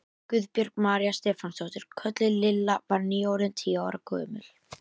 Guðbjörg María Stefánsdóttir, kölluð Lilla, var nýorðin tíu ára gömul.